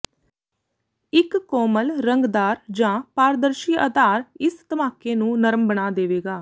ਇੱਕ ਕੋਮਲ ਰੰਗਦਾਰ ਜਾਂ ਪਾਰਦਰਸ਼ੀ ਆਧਾਰ ਇਸ ਧਮਾਕੇ ਨੂੰ ਨਰਮ ਬਣਾ ਦੇਵੇਗਾ